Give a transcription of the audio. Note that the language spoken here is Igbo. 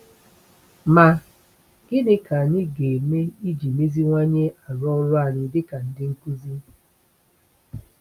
Ma, gịnị ka anyị ga-eme iji meziwanye arụ ọrụ anyị dịka ndị nkuzi?